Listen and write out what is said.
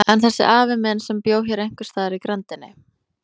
En þessi afi minn, sem bjó hér einhvers staðar í grenndinni.